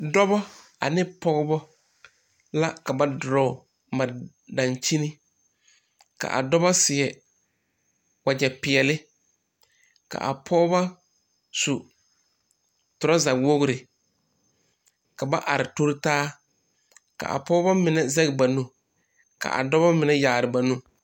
Dɔɔ ane pɔga ane bie la zeŋ ka tɔɔyi biŋ kɔge a pɔga k,a bie nyɔge a baage ba nimitɔɔre ka ba sɛge sɛgre mare a baage k,a dɔɔ seɛ kurizeɛ k,a pɔge su kparsɔglaa.